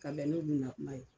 Ka bɛn n'olu na kuma ye.